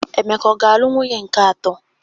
Emeka ọga-alụ nwunye nke atọ?